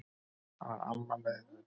Þá var amma með í för.